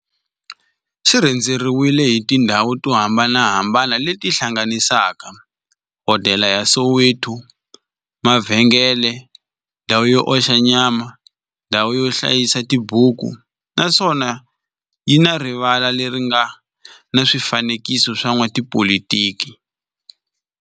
Xi rhendzeriwile hi tindhawu to hambanahambana le ti hlanganisaka, hodela ya Soweto, mavhengele, ndhawu yo oxa nyama, ndhawu yo hlayisa tibuku, naswona yi na rivala le ri nga na swifanekiso swa vo n'watipolitiki.